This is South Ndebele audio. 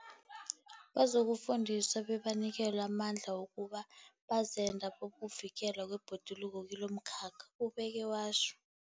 Bazokufundiswa bebanikelwe amandla wokuba bazenda bokuvikelwa kwebhoduluko kilomkhakha, ubeke watjho.